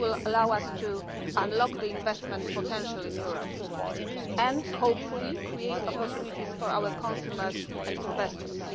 it will allow us to unlock the investment potential in Europe and, hopefully, create opportunities for our consumers and investors.